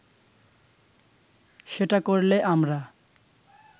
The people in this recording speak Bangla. সেটা করলে আমরা